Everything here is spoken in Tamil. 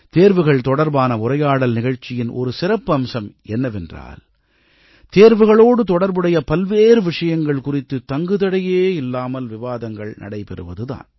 தேர்வுகள் தொடர்பான உரையாடல் நிகழ்ச்சியின் ஒரு சிறப்பம்சம் என்னவென்றால் தேர்வுகளோடு தொடர்புடைய பல்வேறு விஷயங்கள் குறித்து தங்கு தடையே இல்லாமல் விவாதங்கள் நடைபெறுவது தான்